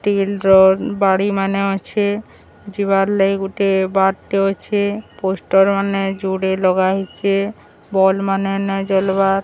ତିନ ଡ୍ରରର ବାଡ଼ି ମାନେ ଅଛେ ଯିବାର ଲାଗି ଗୋଟେ ବାଟେ ଅଛେ ପୋଷ୍ଟର ମାନେ ଯୋଡ଼େ ଲଗା ହେଇଚେ ବଲ ମାନେ ନଈ ଜାଳିବାର।